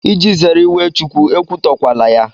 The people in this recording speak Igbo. Iji zere iwe Chukwu, ekwutọkwala ya.